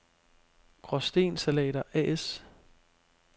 Graasten Salater A/S